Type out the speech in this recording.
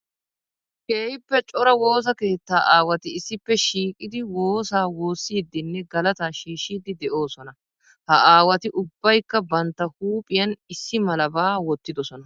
Keehippe cora woosa keetta aawatti issippe shiiqqiddi xoosa woosiddinne galata shiishshiddi de'osonna. Ha aawatti ubbaykka bantta huuphphiyan issi malaba wottidosonna.